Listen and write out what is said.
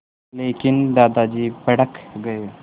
लेकिन दादाजी भड़क गए